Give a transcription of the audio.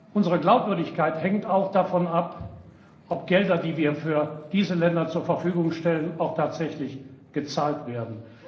Unsere Glaubwürdigkeit hängt auch davon ab, ob Gelder, die wir für diese Länder zur Verfügung stellen, auch tatsächlich gezahlt werden.